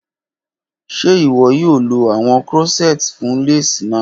Ṣe iwọ yoo lo awọn corsets fun lace naa?